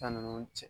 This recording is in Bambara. Fɛn ninnu cɛ